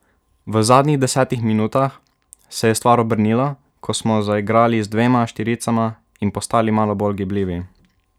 V zadnjih desetih minutah se je stvar obrnila, ko smo zaigrali z dvema štiricama in postali malo bolj gibljivi.